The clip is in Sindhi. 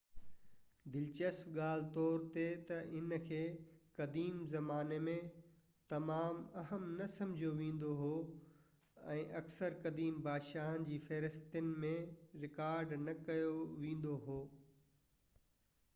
دلچسپ ڳالهه طور ته هن کي قديم زماني ۾ تمام اهم نه سمجهيو ويندو هو ۽ اڪثر قديم بادشاهن جي فهرستن ۾ رڪارڊ نه ڪيو ويندو هو